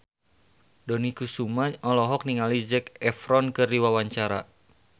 Dony Kesuma olohok ningali Zac Efron keur diwawancara